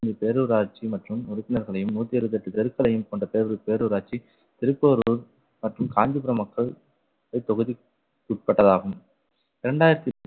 பேரூராட்சி மற்றும் உறுப்பினர்களையும் நூத்தி அறுபத்தி எட்டு தெருக்களையும் கொண்ட பேரூர்~ பேரூராட்சி திருப்போரூர் மற்றும் காஞ்சிபுரம் மக்கள் இத்தொகுதிக்கு உட்பட்டதாகும் இரண்டாயிரத்தி